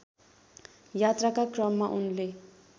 यात्राका क्रममा उनले